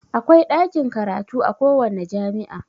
Akwai ɗakin karatu a kowanne jami'a